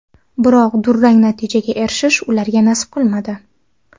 Biroq durang natijaga erishish ularga nasib qilmadi.